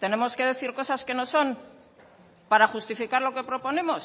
tenemos que decir cosas que no son para justificar lo que proponemos